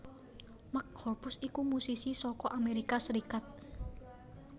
Mark Hoppus iku musisi saka Amerika Serikat